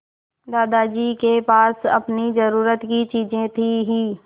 दादाजी के पास अपनी ज़रूरत की चीजें थी हीं